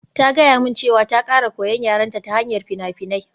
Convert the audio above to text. Ta gaya min cewa ta ƙara koyan yarenta ta hanyar fina-finai